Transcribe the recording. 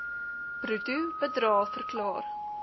bruto bedrae verklaar